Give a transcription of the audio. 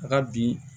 A ka bi